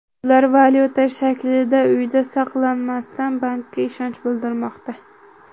Ular valyuta shaklida uyda saqlamasdan, bankka ishonch bildirmoqda.